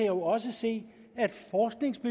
jo også se